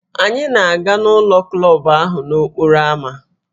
Anyị na-aga ụlọ klọb ahụ nọ n'okporo ámá